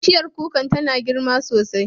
Bishiyar kuka tana yin girma sosai.